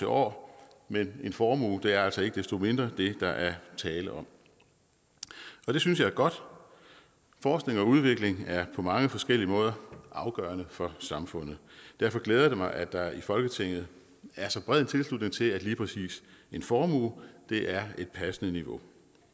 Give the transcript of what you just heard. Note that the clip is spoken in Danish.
år men en formue er altså ikke desto mindre det der er tale om det synes jeg er godt forskning og udvikling er på mange forskellige måder afgørende for samfundet derfor glæder det mig at der i folketinget er så bred tilslutning til at lige præcis en formue er et passende niveau